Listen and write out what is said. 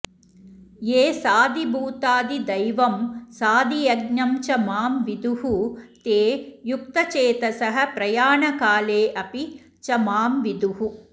ये साधिभूताधिदैवं साधियज्ञं च मां विदुः ते युक्तचेतसः प्रयाणकाले अपि च मां विदुः